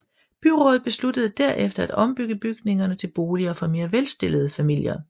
Byrådet besluttede derefter at ombygge bygningerne til boliger for mere velstillede familier